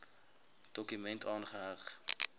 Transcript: dokument aangeheg